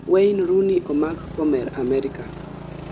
wayne rooney omak komer amerika